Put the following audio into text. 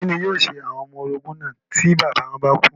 Kí ni yóò ṣe àwọn ọmọ orogún náà tí bàbá wọn bá kú?